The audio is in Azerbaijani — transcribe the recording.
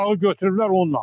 Uşağı götürüblər onunla.